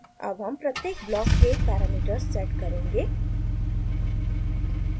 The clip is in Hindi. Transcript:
अब हम प्रत्येक ब्लॉक के पैरामीटर्स सेट करेंगे